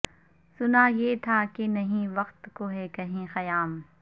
سنا یہ تھا کہ نہیں وقت کو ہے کہیں قیام